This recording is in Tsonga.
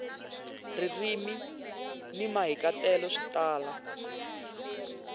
ririmi ni mahikahatelo swi tala